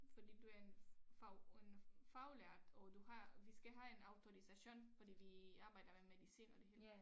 Fordi du er en fag en faglært og du har vi skal have en autorisation fordi vi arbejder med medicin og det hele